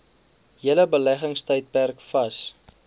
hele beleggingstydperk vas